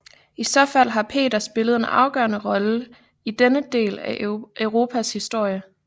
I så fald har Peter spillet en afgørende rolle i denne del af Europas historie